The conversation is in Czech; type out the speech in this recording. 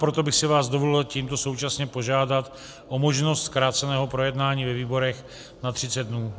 Proto bych si vás dovolil tímto současně požádat o možnost zkráceného projednání ve výborech na 30 dnů.